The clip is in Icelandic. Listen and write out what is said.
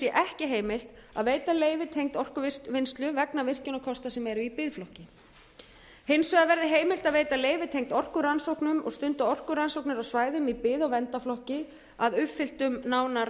ekki heimilt að veita leyfi tengd orkuvinnslu vegna virkjunarkosta sem eru í biðflokki hins vegar verði heimilt að veita leyfi tengd orkurannsóknum og stunda orkurannsóknir á svæðum í byggð og verndarflokki að uppfylltum nánar